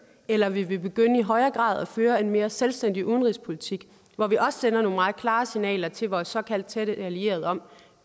eller vil vi begynde i højere grad at føre en mere selvstændig udenrigspolitik hvor vi også sender nogle meget klare signaler til vores såkaldt tætte allierede om